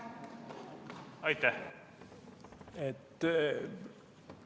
Aitäh!